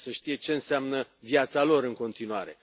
Trebuie să știe ce înseamnă viața lor în continuare.